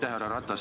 Härra Ratas!